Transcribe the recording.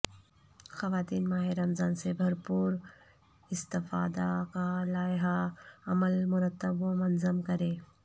خواتین ماہ رمضان سے بھرپور استفادہ کا لائحہ عمل مرتب و منظم کریں